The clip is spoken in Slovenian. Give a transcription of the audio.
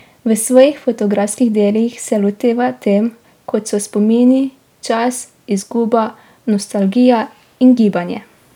V svojih fotografskih delih se loteva tem, kot so spomini, čas, izguba, nostalgija in gibanje.